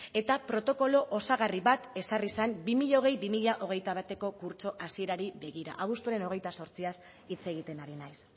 eta protokolo osagarri bat ezarri zen bi mila hogei bi mila hogeita bateko kurtso hasierari begira abuztuaren hogeita zortziaz hitz egiten ari naiz